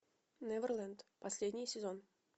неверлэнд последний сезон